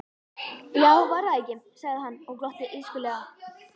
Já, var það ekki, sagði hann og glotti illskulega.